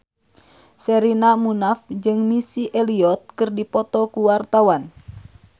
Sherina Munaf jeung Missy Elliott keur dipoto ku wartawan